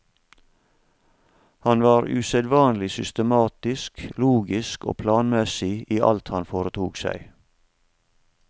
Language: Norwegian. Han var usedvanlig systematisk, logisk og planmessig i alt han foretok seg.